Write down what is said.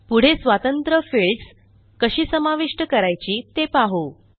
पुढे स्वतंत्र फिल्डस कशी समाविष्ट करायची ते पाहू